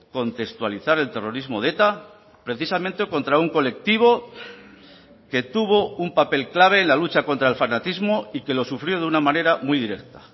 contextualizar el terrorismo de eta precisamente contra un colectivo que tuvo un papel clave en la lucha contra el fanatismo y que lo sufrió de una manera muy directa